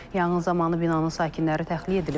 Yanğın zamanı binanın sakinləri təxliyə edilib.